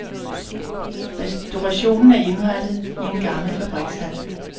Restaurationen er indrettet i en gammel fabrikshal.